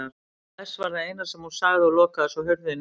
Bless var það eina sem hún sagði og lokaði svo hurðinni.